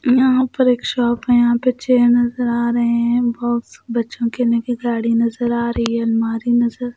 यहाँ पर एक शॉप है यहाँ पर चेयर नजर आ रहे हैं बॉक्स बच्चों गाड़ी नजर आ रही है अलमारी नजर --